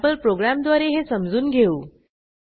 sample प्रोग्रॅमद्वारे हे समजून घेऊ